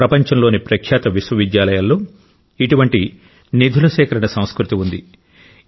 ప్రపంచంలోని ప్రఖ్యాత విశ్వవిద్యాలయాల్లో ఇటువంటి నిధుల సేకరణ సంస్కృతి ఉంది